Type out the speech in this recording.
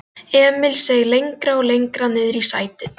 Emil seig lengra og lengra niðrí sætið.